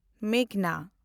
ᱢᱮᱜᱷᱱᱟ